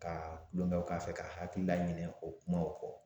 Ka kulongɛw k'a fɛ k'a hakili laɲinɛn o kumaw kɔ